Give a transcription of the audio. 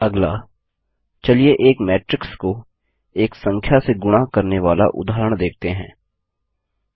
अगला चलिए एक मैट्रिक्स को एक संख्या से गुणा करने वाला उदाहरण देखते हैं